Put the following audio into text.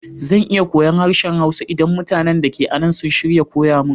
Zan iya koyon harshen Hausa idan mutanin da ke anan sun shirya koya mun.